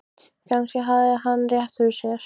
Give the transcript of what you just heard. Kannski hafði hann rétt fyrir sér.